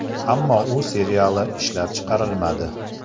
Ammo u seriyali ishlab chiqarilmadi.